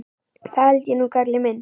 Það held ég nú, kallinn minn.